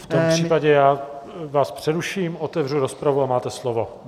V tom případě já vás přeruším, otevřu rozpravu a máte slovo.